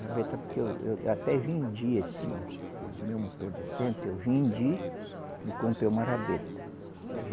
Rabeta porque eu eu até vendi esse, o meu motor de centro, eu vendi e comprei uma rabeta.